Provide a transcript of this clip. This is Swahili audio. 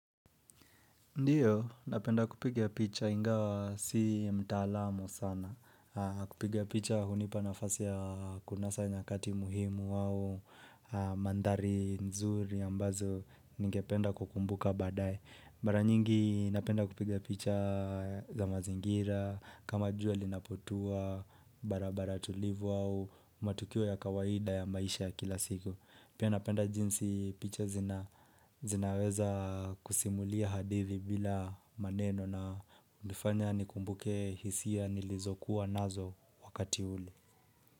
Ndiyo, napenda kupiga picha ingawa si mtaalamu sana. Kupiga picha hunipa nafasi ya kunasa nyakati muhimu au mandhari nzuri ambazo ningependa kukumbuka baadaye. Mara nyingi napenda kupiga picha za mazingira, kama jua linapotua, barabara tulivu au matukio ya kawaida ya maisha ya kila siku. Pia napenda jinsi picha zinaweza kusimulia hadithi bila maneno na hunifanya nikumbuke hisia nilizokuwa nazo wakati ule.